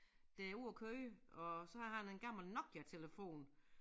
Der er ude at køre og så har han en gammel Nokiatelefon